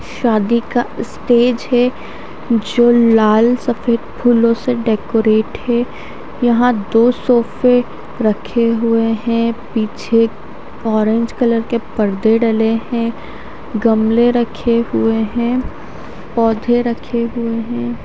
शादी का स्टेज है जो लाल सफेद फूलों से डेकोरेट है यहां दो सोफे रखे हुए हैं पीछे ऑरेंज कलर के पर्दे डाले हैं गमले रखे हुए हैं पौधे रखे हुए हैं।